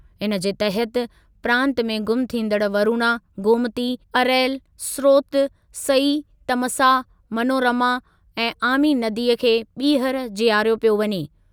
इनजे तहति प्रांत में गुम थींदड़ु वरुणा, गोमती, अरैल, स्रोत, सई, तमसा, मनोरमा ऐं आमी नदीअ खे ॿीहर जीआरियो पियो वञे।।